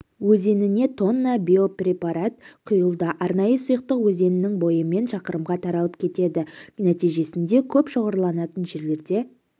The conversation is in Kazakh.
өзеніне тонна биопрепарат құйылды арнайы сұйықтық өзеннің бойымен шақырымға таралып кетеді нәтижесінде көп шоғырланатын жерлерде